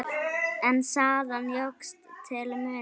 En salan jókst til muna.